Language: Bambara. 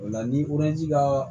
O la ni ji ka